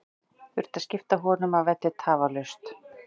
Þurfti að skipta honum af velli tafarlaust.